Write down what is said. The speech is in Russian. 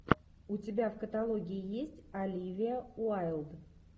у тебя в каталоге есть оливия уайлд